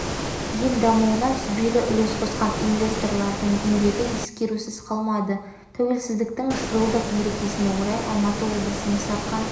ел дамуына сүбелі үлес қосқан инвесторлардың еңбегі ескерусіз қалмады тәуелсіздіктің жылдық мерекесіне орай алматы облысының сарқан